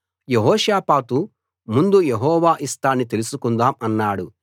యెహోషాపాతు ముందు యెహోవా ఇష్టాన్ని తెలుసుకుందాం అన్నాడు